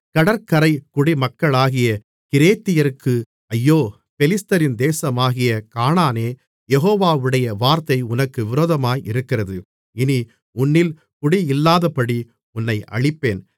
கடற்கரை குடிமக்களாகிய கிரேத்தியருக்கு ஐயோ பெலிஸ்தரின் தேசமாகிய கானானே யெகோவாவுடைய வார்த்தை உனக்கு விரோதமாயிருக்கிறது இனி உன்னில் குடியில்லாதபடி உன்னை அழிப்பேன்